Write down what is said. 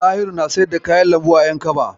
Ɗahiru na siyar da kayan lambu a Yankaba.